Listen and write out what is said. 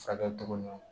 Fakɛtogo